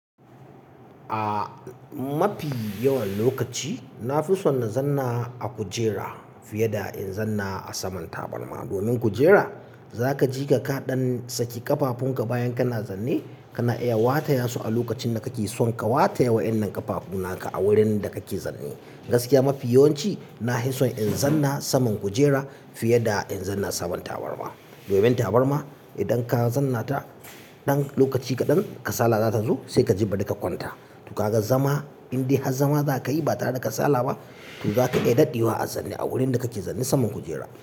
Ah, mafi yawan lokaci na fi son na zanna a kujera, fiye da in zanna a saman tabarma. Domin kujera, zaka ji ka kaɗan saki ƙafafun ka bayan kana zanne, kana iya wata ya su a lokacin da kake son ka wata ya waƴannan ƙafafu na ka a wurin da kake zanne. Gaskiya mafi yawanci, na fi son in zanna saman kujera, fiye da in zanna saman tabarma. Domin tabarma idan ka zannata ɗan lokaci kaɗan, kasala za ta zo sai ka ji bari ka kwanta. To kaga zama, in dai har zama za ka yi ba tare da kasala ba, to zaka iya daɗewa a zanne a wurin da kake zanne saman kujera.